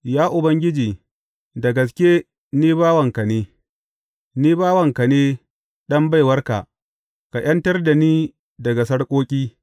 Ya Ubangiji, da gaske ni bawanka ne; ni bawanka ne, ɗan baiwarka; ka ’yantar da ni daga sarƙoƙi.